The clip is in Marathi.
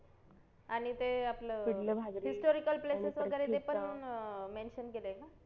आणि ते आपलं historical places वगैरे ते पण mention केलय का